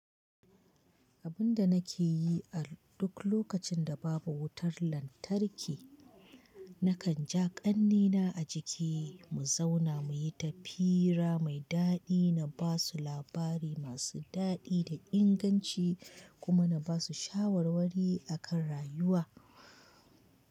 Abin da nake yi a duk lokacin da babu wutar lantarki, nakan ja ƙannena a jiki mu zauna muyi ta fira mai daɗi. Na basu labari masu daɗi da inganci kuma na basu shawarwari akan rayuwa.